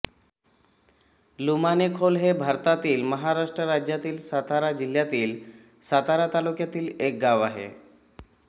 लुमाणेखोल हे भारतातील महाराष्ट्र राज्यातील सातारा जिल्ह्यातील सातारा तालुक्यातील एक गाव आहे